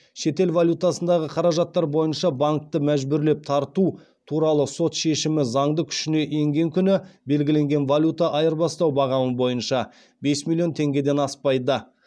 шетел валютасындағы қаражаттар бойынша бес миллион теңгеден аспайды